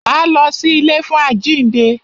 Máa lọ sí ilé fún àjínde.